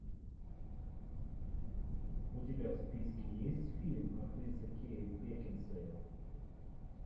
у тебя в списке есть фильм актриса кейт бекинсейл